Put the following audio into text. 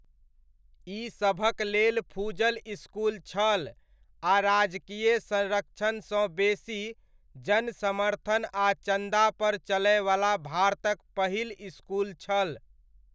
ई सभकलेल फुजल इसकुल छल आ राजकीय संरक्षणसँ बेसी, जनसमर्थन आ चन्दापर चलयवला भारतक पहिल इसकुल छल।